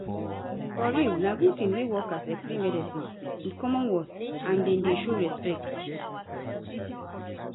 for real na good tin wen workers explain medicine with common words and dem dey show respect